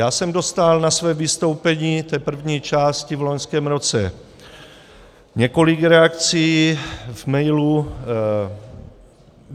Já jsem dostal na své vystoupení, té první části, v loňském roce několik reakcí v mailu.